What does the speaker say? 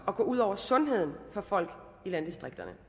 at gå ud over sundheden for folk i landdistrikterne